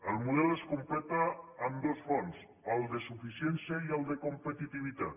el model es completa amb dos fons el de suficiència i el de competitivitat